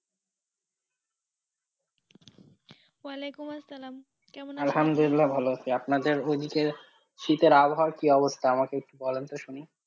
ওয়ালাইকুম আসসালাম, কেমন আছেন? আলহামদুলিল্লা ভালো আছি আপনাদের ওই দিকের শীতের আবহাওয়া কি অবস্থা আমাকে একটু বলেন তো শুনি।